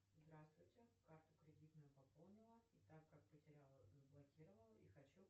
здравствуйте карту кредитную пополнила и так как потеряла заблокировала и хочу